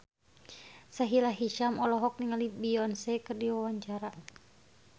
Sahila Hisyam olohok ningali Beyonce keur diwawancara